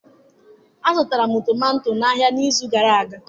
Azụtara m tomato n'ahịa n'izu gara aga.